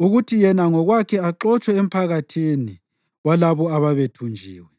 kuthi yena ngokwakhe axotshwe emphakathini walabo ababethunjiwe.